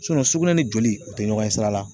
sugunɛ ni joli u tɛ ɲɔgɔn ye sira la